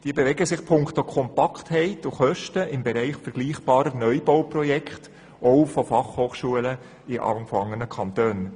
Diese bewegen sich punkto Kompaktheit und Kosten im Bereich vergleichbarer Neubauprojekte auch von Fachhochschulen in anderen Kantonen.